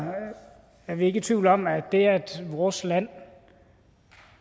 er vi ikke i tvivl om at det at vores land